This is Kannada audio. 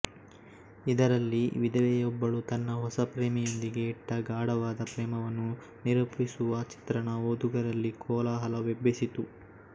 ಇದರಲ್ಲಿ ವಿಧವೆಯೊಬ್ಬಳು ತನ್ನ ಹೊಸ ಪ್ರೇಮಿಯೊಂದಿಗೆ ಇಟ್ಟ ಗಾಢವಾದ ಪ್ರೇಮವನ್ನು ನಿರೂಪಿಸುವ ಚಿತ್ರಣ ಓದುಗರಲ್ಲಿ ಕೋಲಾಹಲವೆಬ್ಬಿಸಿತು